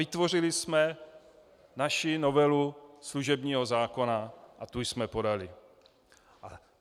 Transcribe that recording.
Vytvořili jsme naši novelu služebního zákona a tu jsme podali.